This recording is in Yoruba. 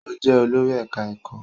Ó jẹ́ olórí ẹ̀ká ẹ̀kọ́